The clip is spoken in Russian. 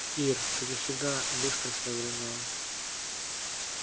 ир ты же всегда быстро соображала